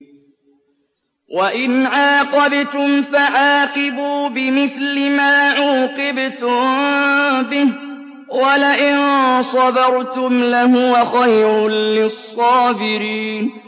وَإِنْ عَاقَبْتُمْ فَعَاقِبُوا بِمِثْلِ مَا عُوقِبْتُم بِهِ ۖ وَلَئِن صَبَرْتُمْ لَهُوَ خَيْرٌ لِّلصَّابِرِينَ